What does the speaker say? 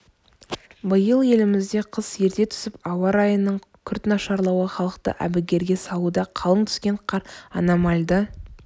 биыл елімізде қыс ерте түсіп ауа райының күрт нашарлауы халықты әбігерге салуда қалың түскен қар аномальды